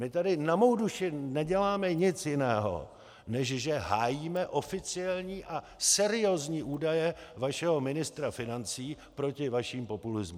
My tady na mou duši neděláme nic jiného, než že hájíme oficiální a seriózní údaje vašeho ministra financí proti vašemu populismu!